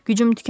Gücüm tükənir.